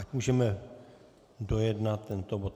Ať můžeme dojednat tento bod.